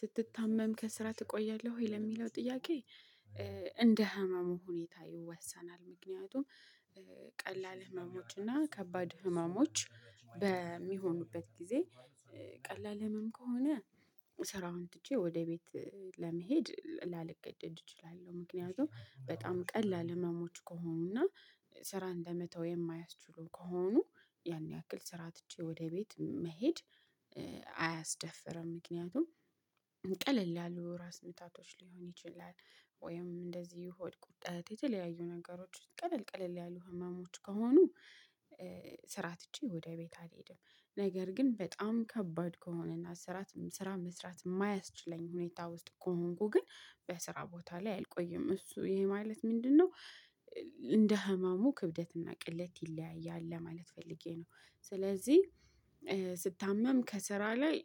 ስትታመም ከስራ ትቆያለህ ወይ ለሚለው ጥያቄ? እንደ ህመሙ ሁኔታ ይወሰናል። ምክንያቱም። ቀላል ህመሞች እና ከባድ ህመሞች በሚሆኑበት ጊዜ። ቀላል ህመም ከሆነ ስራውን ትቼ ወደ ቤት ለመሄድ ላልገደድ እችላለሁ። ምክንያቱም በጣም ቀላል ህመሞች ከሆኑና ስራ እንደመተው የማያስችሉ ከሆኑ ያን ያክል ስራ ትቼ ወደ ቤት መሄድ። አያስደፍርም ምክንያቱም ቀለል ያሉ ራስ ምታቶች ሊሆን ይችላል። ወይም እንደዚህ ሆድ ቁርጠት የተለያዩ ነገሮች ቀለል ቀለል ያሉ ህመሞች ከሆኑ። ስራ ትቼ ወደ ቤት አልሄድም። ነገር ግን በጣም ከባድ ከሆነና ስራ ስራ መስራት የማያስችለኝ ሁኔታ ውስጥ ከሆንኩ ግን በስራ ቦታ ላይ አልቆይም። እሱ ይሄ ማለት ምንድነው? እንደ ህመሙ ክብደትና ቅለት ይለያያል ለማለት ፈልጌ ነው። ስለዚህ ስታመም ከስራ ላይ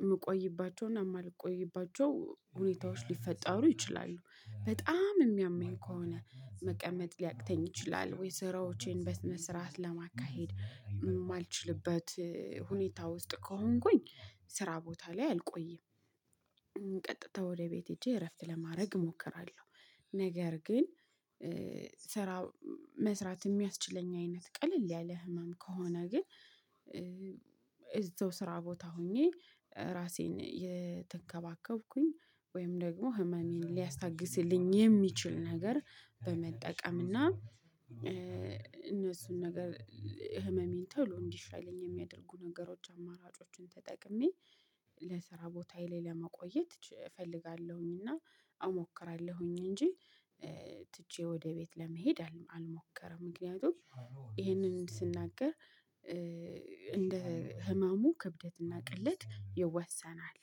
የምቆይባቸውና የማልቆይባቸው ሁኔታዎች ሊፈጠሩ ይችላሉ። በጣም የሚያመኝ ከሆነ መቀመጥ ሊያቅተኝ ይችላል ወይ ስራዎቼን በስነ ስርዓት ለማካሄድ የማልችልበት ሁኔታ ውስጥ ከሆንኩኝ ስራ ቦታ ላይ አልቆይም። ቀጥታ ወደ ቤት ሄጄ እረፍት ለማድረግ እሞክራለሁ። ነገር ግን ስራ መስራት የሚያስችለኝ አይነት ቀለል ያለ ህመም ከሆነ ግን። የዛው ስራ ቦታ ሆኜ ራሴን እየተከባከብኩኝ ወይም ደግሞ ህመሜን ሊያስታግስልኝ የሚችል ነገር በመጠቀም እና እነሱን ነገር ህመሜን ተሎ እንዲሻለኝ የሚያደርጉ ነገሮች አማራጮችን ተጠቅሜ ለስራ ቦታዬ ላይ ለመቆየት እፈልጋለሁኝ። እና አሞክራለሁኝ እንጂ ትቼ ወደ ቤት ለመሄድ አልሞከርም። ምክንያቱም ይሄንን ስናገር እንደ ህመሙ ክብደት እና ቅለት ይወሰናል።